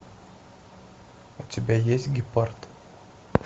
у тебя есть гепард